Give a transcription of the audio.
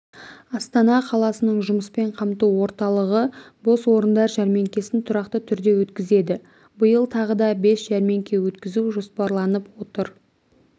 астана қаласының жұмыспен қамту орталығы бос орындар жәрмеңкесін тұрақты түрде өткізеді биыл тағы да бес жәрмеңке өткізу жоспарланып отыр